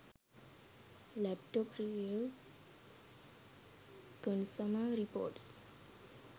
laptop reviews consumer reports